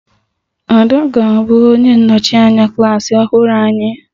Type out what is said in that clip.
Ada ga-abụ onye nnọchi anya klas ọhụrụ anyị